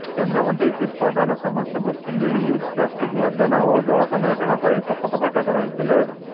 କେନ୍ଦ୍ରମନ୍ତ୍ରୀ ଶ୍ରୀ ପ୍ରଧାନ ସମସ୍ତଙ୍କୁ single use plastic ବର୍ଜନ ଓ ଜଳ ସଂରକ୍ଷଣ ପାଇଁ ଶପଥପାଠ କରାଇଥିଲେ